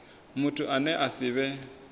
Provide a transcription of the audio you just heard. muthu ane a si vhe